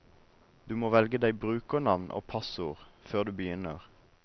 Du må velge deg brukernavn og passord før du begynner.